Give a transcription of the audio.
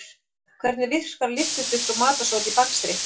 Hvernig virka lyftiduft og matarsódi í bakstri?